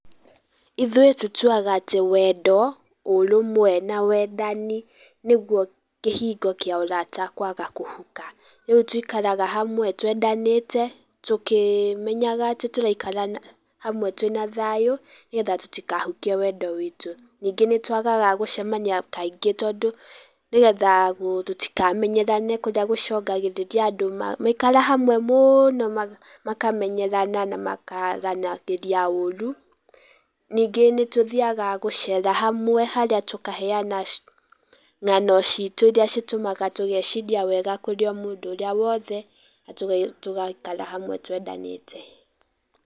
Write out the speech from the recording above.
Ithuĩ tũtuaga atĩ wendo, ũrũmwe na wendani nĩguo kĩhingo kĩa ũrata kwaga kũhuka. Nĩtũikaraga hamwe twendanĩte, tũkĩmenyaga atĩ tũraikara hamwe twĩna thayũ nĩgetha tũtikahukie wendo witũ. Ningĩ nĩtwagaga gũcemania kaingĩ tondũ nĩgetha tũtikamenyerane, kũrĩa gũcũnagĩrĩria andũ maikara hamwe mũno makamenyerana na makaranagĩria ũru, ningĩ nĩtũthiaga gũcera hamwe, harĩa tũkaheana ng'ano citũ iria citũmaga tũgeciria wega kũrĩ mũndũ ũrĩa wothe na tũgaikara hamwe twendanĩte.